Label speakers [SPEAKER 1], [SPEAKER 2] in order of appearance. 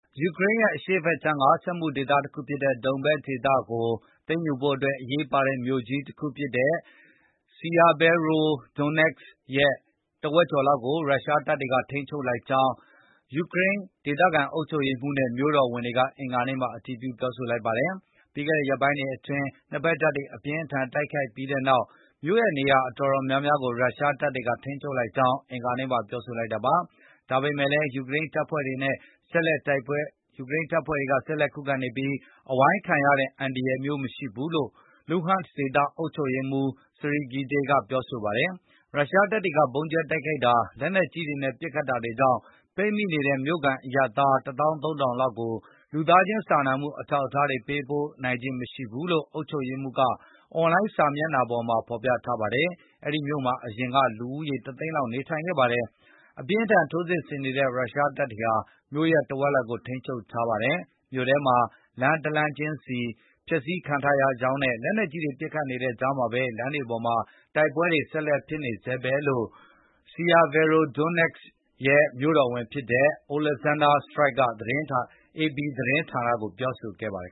[SPEAKER 1] ယူကရိန်းရဲ့ အရှေ့ဖက်ခြမ်း စက်မှုဒေသဖြစ်တဲ့ ဒုန်ဘက်စ် ဒေသကို သိမ်းယူဖို့အတွက် အရေးပါတဲ့ မြို့ကြီးတခုဖြစ်တဲ့ Sievierodonetsk ရဲ့ တဝက်ကျော်လောက်ကို ရုရှားတွေက ထိန်းချုပ်လိုက်ကြောင်း ယူကရိန်း ဒေသခံ အုပ်ချုပ်ရေးမှူးနဲ့ မြို့တော်ဝန်တို့က အင်္ဂါနေ့ မှာ အတည်ပြု ပြောဆိုပါတယ်။ ပြီးခဲ့တဲ့ ရက်ပိုင်းတွေအတွင်း နှစ်ဘက်တပ်တွေ အပြင်းအထန် တိုက်ခိုက်ခဲ့ပြီးနောက် မြို့ရဲ့နေရာ အတော်များများကို ရုရှားတပ်တွေက ထိန်းချုပ်လိုက်ကြောင်း အင်္ဂါနေ့မှာ ပြောဆိုလိုက်တာပါ။ ဒါပေမဲ့လည်း ယူကရိန်းတပ်ဖွဲ့တွေ ဆက်လက် ခုခံနေပြီး အဝိုင်းခံရတဲ့ အန္တရာယ်မျိုး မရှိဘူးလို့လည်း လူဟန့်စ်ဒေသ အုပ်ချုပ်ရေးမှူး Serhiy Gaidai ကပြောဆိုပါတယ်။ ရုရှားတပ်တွေက ဗုံးကြဲတိုက်ခိုက်တာ လက်နက်ကြီးတွေနဲ့ ပတ်ခတ်နေတာတွေကြောင့် ပိတ်မိနေတဲ့ မြို့ခံအရပ်သား ၁၃,၀၀၀ လောက်ကို လူသားခြင်း စာနာမှု အထောက်အကူတွေ ပေးပို့နိုင်ခြင်း မရှိဘူးလို့လည်း အုပ်ချုပ်ရေးမှူးက အွန်လိုင်းစာမျက်နှာမှာ ဖေါ်ပြထားပါတယ်။ ဒီမြို့မှာ အရင်က လူဦးရေ ၁၀၀,၀၀၀ လောက်နေထိုင်ခဲ့ပါတယ်။ အပြင်းအထန် ထိုးစစ်ဆင်နေတဲ့ ရုရှားတပ်တွေဟာ မြို့ရဲ့ တဝက်လောက်ကို ထိန်းချုပ်ထားပါတယ်။ မြို့ထဲမှာ လမ်း တလမ်းချင်းစီဟာ ဖျက်ဆီးခံထားရကြောင်းနဲ့ လက်နက်ကြီးတွေ ပစ်ခတ်နေတဲ့ကြားမှာဘဲ လမ်းတွေပေါ်မှာ တိုက်ပွဲတွေ ဆက်လက်ဖြစ်နေဆဲဘဲလို့ Sievierodonestsk ရဲ့ မြိုတော်ဝန် Oleksandr Striuk က AP သတင်းဌာနကို ပြောဆိုခဲ့ပါတယ်